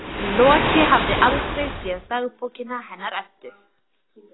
Loki hafði aldrei séð dagbókina hennar Eddu.